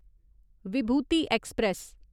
Vibhuti express